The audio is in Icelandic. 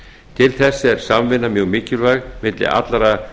til þess er samvinna mjög mikilvæg milli allra